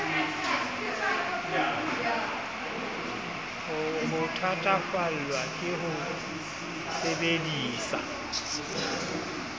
o thatafallwa ke ho sebedisa